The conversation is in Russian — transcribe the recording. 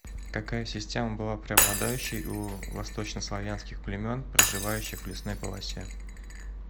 какая система была преобладающей у восточнославянских племен проживающих в лесной полосе